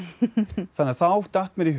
þannig að þá datt mér í hug